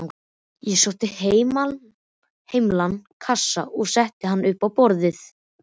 Ég sótti heilan kassa og setti hann upp á borð.